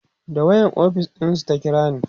da wayan ofis ɗinsu ta kirani